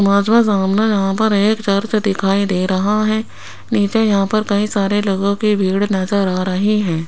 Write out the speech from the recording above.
Image में सामने यहां पर एक चर्च दिखाई दे रहा है नीचे यहां पर कई सारे लोगों की भीड़ नजर आ रही है।